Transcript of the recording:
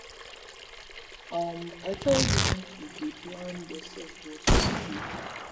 um i tell you make you dey plan yourself but you no gree